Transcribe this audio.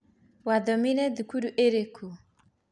Wathomeire thukuru ĩrikũ?